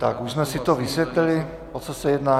Tak už jsme si to vysvětlili, o co se jedná?